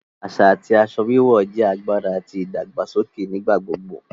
Aṣa ti aṣọ wíwọ̀ jẹ agbára àti ìdàgbàsọkè nigbagbogbo